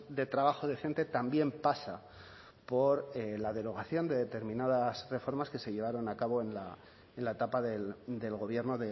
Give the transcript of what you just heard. de trabajo decente también pasa por la derogación de determinadas reformas que se llevaron a cabo en la etapa del gobierno